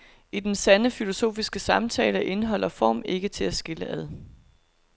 I den sande filosofiske samtale er indhold og form ikke til at skille ad.